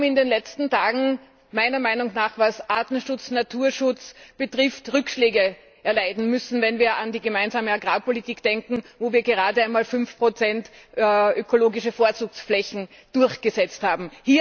Wir haben in den letzten Tagen meiner Meinung nach, was Arten und Naturschutz betrifft, Rückschläge erleiden müssen, wenn wir an die Gemeinsame Agrarpolitik denken, wo wir gerade einmal 5 ökologische Vorzugsflächen durchgesetzt haben.